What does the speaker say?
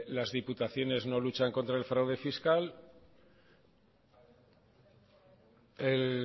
las diputaciones no luchan contra el fraude fiscal el